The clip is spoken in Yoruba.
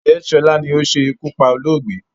Ǹjẹ́ sọlá ni ó ṣe iku pá olóògbé?